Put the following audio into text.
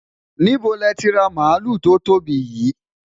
níbo lẹ ti ra maluu to tóbi yii?